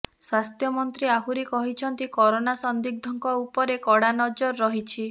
ସ୍ୱାସ୍ଥ୍ୟମନ୍ତ୍ରୀ ଆହୁରି କହିଛନ୍ତି କରୋନା ସନ୍ଦିଗ୍ଧଙ୍କୁ ଉପରେ କଡ଼ା ନଜର ରହିଛି